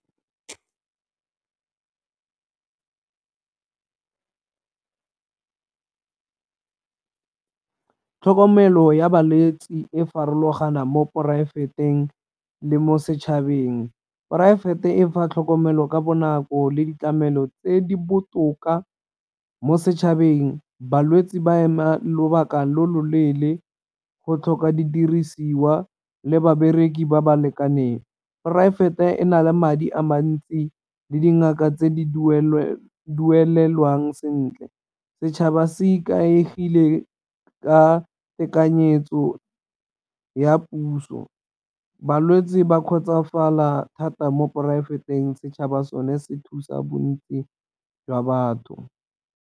Tlhokomelo ya balwetsi e farologana mo poraefeteng le mo setšhabeng, poraefete e fa tlhokomelo ka bonako le ditlamelo tse di botoka mo setšhabeng. Balwetse ba ema lobaka lo loleele go tlhoka didirisiwa le babereki ba ba lekaneng, poraefete e na le madi a mantsi le dingaka tse di duelelwang sentle. Setšhaba se ikaegile ka tekanyetso ya puso, balwetsi ba kgotsofala thata mo poraefeteng setšhaba sone se thusa bontsi jwa batho.